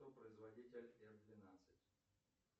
кто производитель эф двенадцать